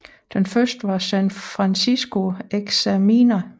Den første var San Francisco Examiner